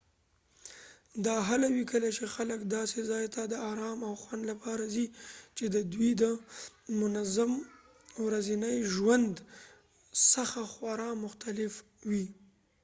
دا هله وي کله چې خلک داسې ځای ته د ارام او خوند لپاره ځي چې د دوی د منظم ورځني ژوند څخه خورا مختلف وي